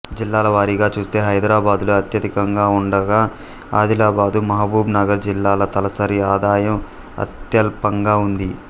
జిల్లాల వారీగా చూస్తే హైదరాబాదులో అత్యధికంగా ఉండగా ఆదిలాబాదు మహబూబ్ నగర్ జిల్లాల తలసరి ఆదాయం అత్యల్పంగా ఉంది